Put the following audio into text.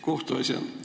Kohtuasjad!